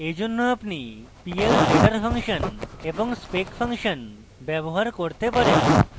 এইজন্য আপনি p l z r function এবং spec ফাংশন ব্যবহার করতে পারেন